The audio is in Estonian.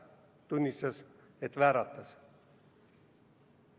Ta tunnistas, et vääratas.